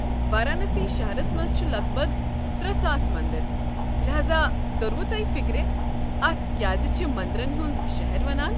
وارانسی شہرس منٛز چھ لگ بگ ترے ساس مندر، لہذا توٚروٕ تۄہہِ فِكرِ اتھ کیٛازِ چھ مندرن ہُنٛد شہر ونان۔